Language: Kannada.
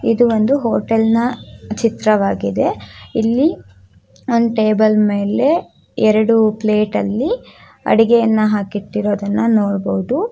ಇದು ಒಂದು ಹೋಟೆಲ್ನ ಚಿತ್ರವಾಗಿದೆ ಇಲ್ಲಿ ಒಂದು ಟೇಬಲ್ ಮೇಲೆ ಎರಡು ಪ್ಲೇಟ್ ಅಲ್ಲಿ ಅಡುಗೆಯನ್ನು ಹಾಕಿ ಇಟ್ಟಿರುವುದನ್ನು ನೋಡಬಹುದು.